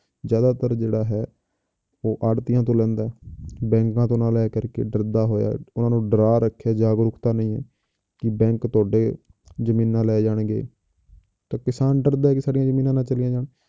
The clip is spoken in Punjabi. ਜ਼ਿਆਦਾਤਰ ਜਿਹੜਾ ਹੈ ਉਹ ਆੜਤੀਆਂ ਤੋਂ ਲੈਂਦਾ ਹੈ ਬੈਂਕਾਂ ਤੋਂ ਨਾ ਲੈ ਕਰਕੇ ਡਰਦਾ ਹੋਇਆ, ਉਹਨਾਂ ਨੂੰ ਡਰਾ ਰੱਖਿਆ ਜਾਗਰੂਕਤਾ ਨਹੀਂ ਹੈ, ਕਿ bank ਤੁਹਾਡੇ ਜ਼ਮੀਨਾਂ ਲੈ ਜਾਣਗੇ ਤਾਂ ਕਿਸਾਨ ਡਰਦਾ ਹੈ ਕਿ ਸਾਡੀਆਂ ਜ਼ਮੀਨਾਂ ਨਾ ਚਲੀਆਂ ਜਾਣ